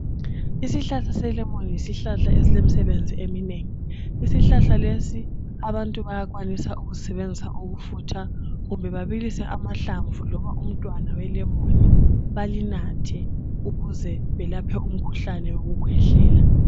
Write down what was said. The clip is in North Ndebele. Isihlahla selemoni yisihlahla eslomsebenzi eminengi. Isihlahla lesi abantu bayakwanisa ukusisebenzisa ukufutha kumbe babilse amahlamvu noma umntwana welemoni balinathe ukuze belaphe umkhuhlane wekukwehlela.